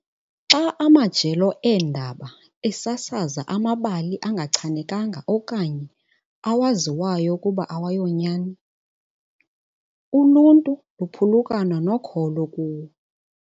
Xa amajelo eendaba esasaza amabali angachanekanga okanye awaziyo ukuba awayonyani, uluntu luphulukana nokholo kuwo.